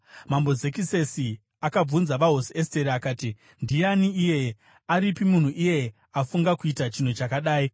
Mambo Zekisesi akabvunza vaHosi Esteri akati, “Ndiani iyeye? Aripi munhu iyeye afunga kuita chinhu chakadai?”